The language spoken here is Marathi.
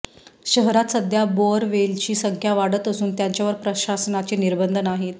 शहरात सध्या बोअरवेलची संख्या वाढत असून त्यांच्यावर प्रशासनाचे निर्बंध नाहीत